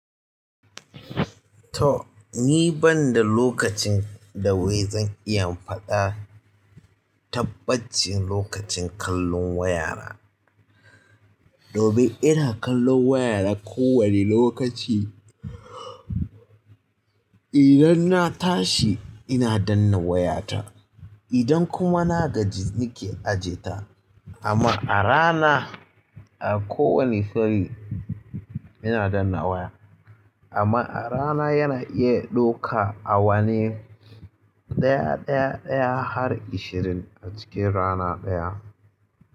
To ni banda lokacin da wai zan iya in faɗa tabbacin lokacin kallon waya na. Domin ina kallon waya na ko wani lokaci. Idan na tashi ina danna wayata, idan kuma na gaji nake aje ta. Amma a rana a ko wane fanni ina danna waya. Amma a rana yana iya ɗauka a wane ɗaya ɗaya ɗaya har ashirin a cikin rana ɗaya.